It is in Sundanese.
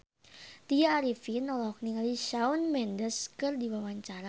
Tya Arifin olohok ningali Shawn Mendes keur diwawancara